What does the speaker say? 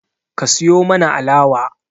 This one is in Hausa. Ka siyo mana alawa